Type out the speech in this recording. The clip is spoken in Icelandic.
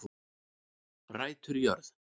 Rætur í jörð